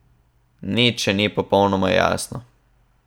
Nič še ni popolnoma jasno.